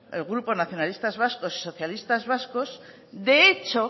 el grupo nacionalistas vascos socialista vascos de hecho